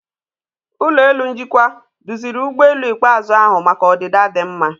Ụlọ elu njikwa duziri ụgbọelu ikpeazụ ahu maka ọdịda dị mma.